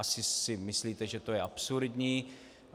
Asi si myslíte, že to je absurdní.